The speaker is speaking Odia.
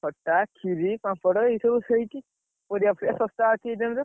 ଖଟା, କ୍ଷୀରି, ପାମ୍ପଡ, ଏଇ ସବୁ ହେଇଛି। ପରିବାଫରିବା ଶସ୍ତା ଅଛି ଏଇ time ରେ।